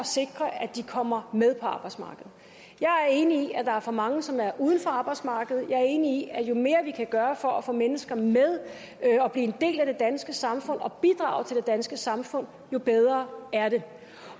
sikre at de kommer med på arbejdsmarkedet jeg er enig i at der er for mange som er uden for arbejdsmarkedet og jeg er enig i at jo mere vi kan gøre for at få mennesker med og at blive en del af det danske samfund og bidrage til det danske samfund jo bedre er det